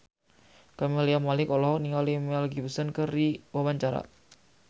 Camelia Malik olohok ningali Mel Gibson keur diwawancara